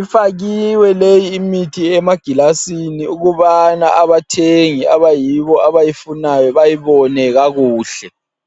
Ifakwe leyi imithi emagilasini ukubana abathengi abayibo abayifunayo bayibone kakuhle.